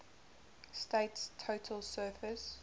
state's total surface